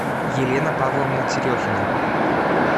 елена павловна терехина